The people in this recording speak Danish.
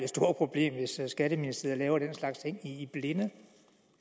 stort problem hvis skatteministeriet laver den slags ting i blinde